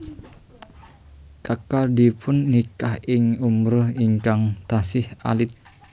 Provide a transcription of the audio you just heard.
Kekalihipun nikah ing umur ingkang tasih alit